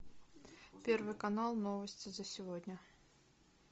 первый канал новости за сегодня